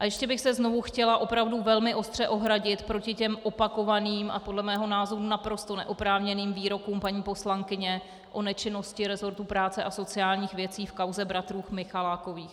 A ještě bych se znovu chtěla opravdu velmi ostře ohradit proti těm opakovaným a podle mého názoru naprosto neoprávněným výrokům paní poslankyně o nečinnosti resortu práce a sociálních věcí v kauze bratrů Michalákových.